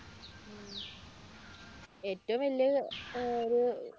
ഏറ്റവും വലിയ ഒരു